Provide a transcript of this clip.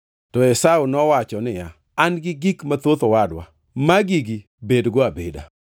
To Esau nowacho niya, “An gi gik mathoth owadwa. Magi-gi bedgo abeda.”